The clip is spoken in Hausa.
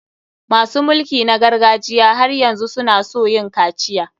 Masu mulki na gargajiya har yanzu su na so yin kaciya.